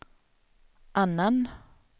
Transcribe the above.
annan